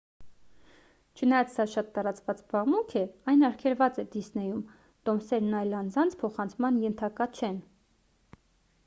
չնայած սա շատ տարածված զբաղմունք է այն արգելված է դիսնեյում տոմսերն այլ անձանց փոխանցման ենթակա չեն